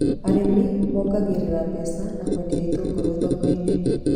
Arĩmi mongagĩrĩra mbeca na kwendia itũngũrũ thoko-inĩ